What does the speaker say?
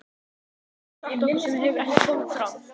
Hvað getur þú sagt okkur sem hefur ekki komið fram?